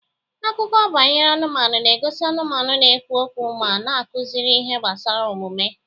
Akụkọ banyere anụmanụ na-egosi anụmanụ na-ekwu okwu ma na-akụzikarị ihe gbasara omume.